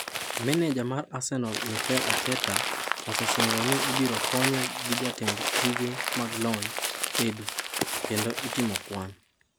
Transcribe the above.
Meneja mar Arsenal Mikel Arteta osesingo ni ibiro konye gi jatend tije mag lony, Edu; kendo itimo kwan.